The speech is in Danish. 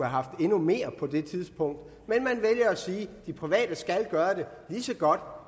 haft endnu mere på det tidspunkt men man vælger at sige at de private skal gøre det lige så godt